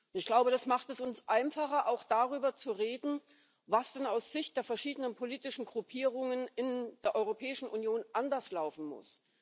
Ich glaube, das macht es uns einfacher, auch darüber zu reden, was denn aus Sicht der verschiedenen politischen Gruppierungen in der Europäischen Union anders laufen muss.